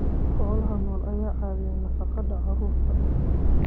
Xoolaha nool ayaa ka caawiya nafaqada carruurta.